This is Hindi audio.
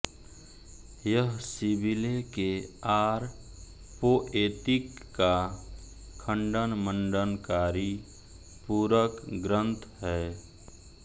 यह सिविले के आर पोएतिक का खंडनमंडनकारी पूरक ग्रंथ है